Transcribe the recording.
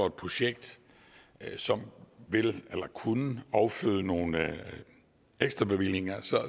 et projekt som kunne afføde nogle ekstra bevillinger